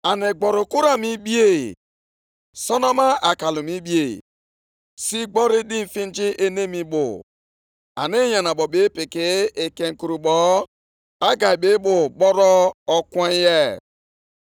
nʼụbọchị nke iri abụọ na otu, nʼọnwa nke asaa, okwu Onyenwe anyị si nʼọnụ onye amụma Hegai bịakwa na-asị: